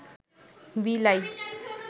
বিলাই